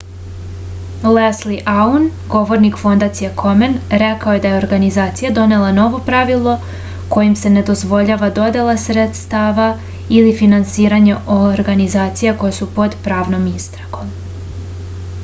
lesli aun govornik fondacije komen rekao je da je organizacija donela novo pravilo kojim se ne dozvoljava dodela sredstava ili finansiranje organizacija koje su pod pravnom istragom